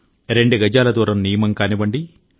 రెండు గజాల దూరం నియమం కానివ్వండి